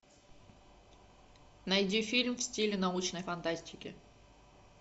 найди фильм в стиле научной фантастики